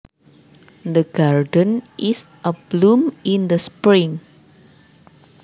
The garden is abloom in the spring